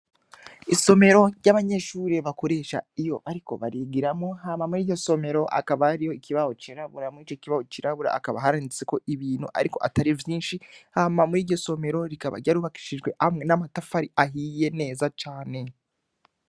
Isomero ry' abanyeshure bakoresha iyo bariko barigiramwo, hama mwiryo somero hakaba harimwo ikibaho c'irabura mwico kibaho cirabura akaba handitsemwo ibintu ariko atari vyishi hama mwiryo somero, rikaba ryarubakishije amwe n'amatafari ahiye neza cane.